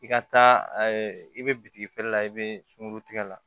I ka taa i bɛ bitigi feere la i bɛ sunkurutigɛ la